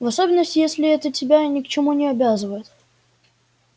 в особенности если это тебя ни к чему не обязывает